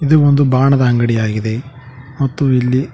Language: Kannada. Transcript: ಇದು ಒಂದು ಬಾಣದ ಅಂಗಡಿ ಆಗಿದೆ ಮತ್ತು ಇಲ್ಲಿ--